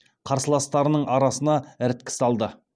қарсыластарының арасына іріткі салды